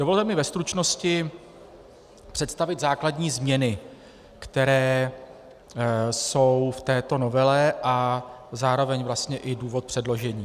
Dovolte mi ve stručnosti představit základní změny, které jsou v této novele, a zároveň vlastně i důvod předložení.